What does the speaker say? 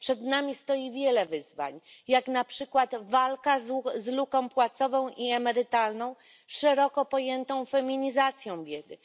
Przed nami stoi wiele wyzwań, jak na przykład walka z luką płacową i emerytalną, szeroko pojętą feminizacją biedy.